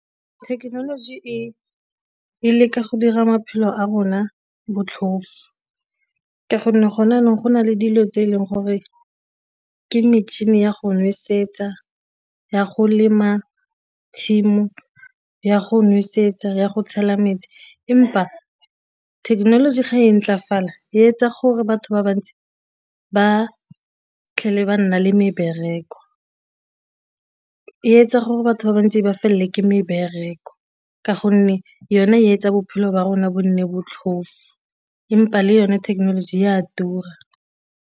Thekenoloji e leka go dira maphelo a rona botlhofo ka gonne go ne jaanong go na le dilo tse e leng gore ke metšhini ya go nosetsa, ya go lema tshimo, ya go nosetsa ya go tshela metsi. Empa thekenoloji ga e ntlefala e etsa gore batho ba bantsi ba ba nna le mebereko, e etsa gore batho ba bantsi ba felelwe ke mebereko ka gonne yona e etsa bophelo ba rona bo nne botlhofo empa le yone thekenoloji e a tura.